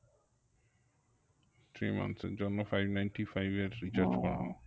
three months এর জন্য five nienty-five এর